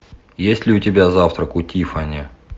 есть ли у тебя завтрак у тиффани